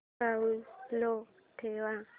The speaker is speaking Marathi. साऊंड लो ठेव